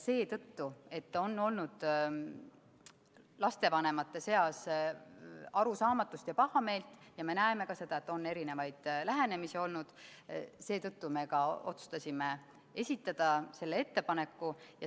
Seetõttu, et on olnud lastevanemate seas arusaamatust ja pahameelt, ja me näeme ka seda, et on erinevaid lähenemisi olnud, me ka otsustasime esitada selle ettepaneku.